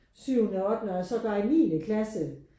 Syvende ottende og sågar i niende klasse